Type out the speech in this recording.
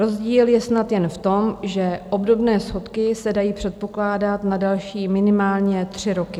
Rozdíl je snad jen v tom, že obdobné schodky se dají předpokládat na další minimálně tři roky.